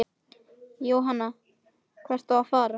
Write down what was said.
Jóhann: Hvert á að fara?